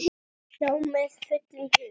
Já, með fullum hug.